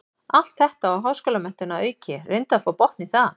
Allt þetta og háskólamenntun að auki, reyndu að fá botn í það.